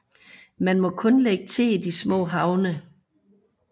Man må kun lægge til i de små havne